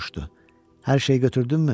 Hər şey götürdünmü?